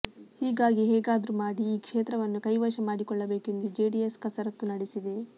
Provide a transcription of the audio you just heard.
ಹೀಗಾಗಿ ಹೇಗಾದ್ರೂ ಮಾಡಿ ಈ ಕ್ಷೇತ್ರವನ್ನು ಕೈವಶ ಮಾಡಿಕೊಳ್ಳಬೇಕು ಎಂದು ಜೆಡಿಎಸ್ ಕಸರತ್ತು ನಡೆಸಿದೆ